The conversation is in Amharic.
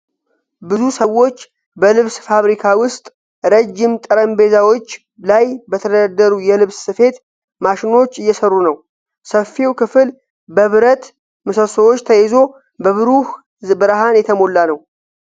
ብዙ ሰዎች በልብስ ፋብሪካ ውስጥ ረጅም ጠረጴዛዎች ላይ በተደረደሩ የልብስ ስፌት ማሽኖች እየሰሩ ነው። ሰፊው ክፍል በብረት ምሰሶዎች ተይዞ በብሩህ ብርሃን የተሞላ ነው።